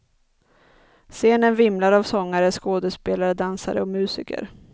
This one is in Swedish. Scenen vimlar av sångare, skådespelare, dansare och musiker.